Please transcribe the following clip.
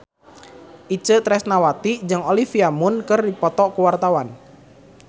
Itje Tresnawati jeung Olivia Munn keur dipoto ku wartawan